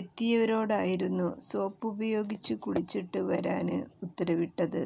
എത്തിയവരോടായിരുന്നു സോപ്പുപയോഗിച്ച് കുളിച്ചിട്ട് വരാന് ഉത്തരവിട്ടത്